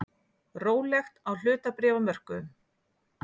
Rólegt á hlutabréfamörkuðum